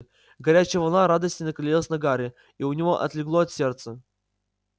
горячая волна радости накалилась на гарри и у него отлегло от сердца